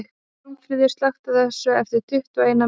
Pálmfríður, slökktu á þessu eftir tuttugu og eina mínútur.